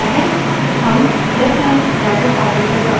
पहले देखते हैं कि standard input कैसे रिडाइरेक्ट होता है